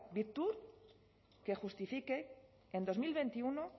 que justifique que en dos mil veintiuno